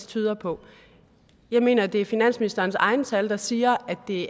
tyder på jeg mener at det er finansministerens egne tal der siger at det